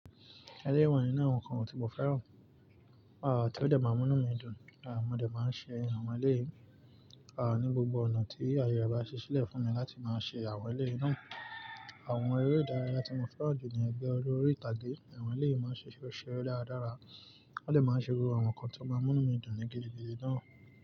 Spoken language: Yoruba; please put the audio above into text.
Eléyìí wà nínú àwọn nǹkan wọ̀n tí mo fẹ́ràn, à tí ó dẹ́ máa ń múnú mí dùn, à mo dẹ́ máa ń ṣe àwọn elẹ́yì ní gbogbo ọ̀nà tí ayé rẹ̀ bá ṣíṣílẹ́ fùn mi láti má ṣe àwọn elẹ́yì náà. Àwọn eré ìdárayá tí mo fẹ́ràn jù ni ẹ̀gbẹ́ oré oríìtàgé, àwọn elẹ́yì máa ń ṣe ṣó seré dáradára, wọ́n dẹ̀ máa ń ṣe irú àwọn ńkán tó máa ń múnú mi dùn ní gidi gidi náà.